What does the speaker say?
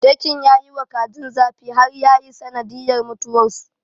Dakin ya yiwa kajin zafi har yayi sanadiyyar mutuwarsu.